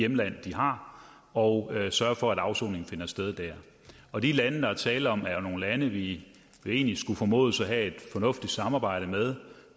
hjemland de har og sørge for at afsoningen finder sted dér og de lande der er tale om er jo nogle lande vi egentlig skulle formodes at have et fornuftigt samarbejde med